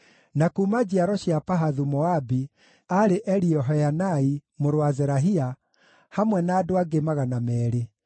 na kuuma njiaro cia Pahathu-Moabi, aarĩ Eliehoenai mũrũ wa Zerahia, hamwe na andũ angĩ 200;